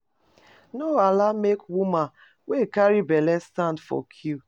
No allow make woman wey carry belle stand for queue